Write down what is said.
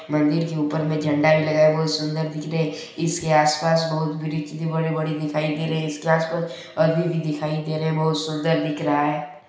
मंदिर के ऊपर में झंडा भी लगा हुआ है बहुत सुंदर दिख रहे है इसके आसपास बहुत बड़ी वृक्षे बड़े-बड़े दिखाई दे रहे है इसके आसपास आदमी भी दिखाई दे रहे है बहुत सुंदर दिख रहा है।